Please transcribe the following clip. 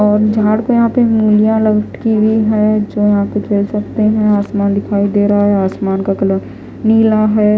और यहां पे उंगलियां लटकी हुई है जो यहां पे खेल सकते हैं आसमान दिखाई दे रहा है आसमान का कलर नीला है।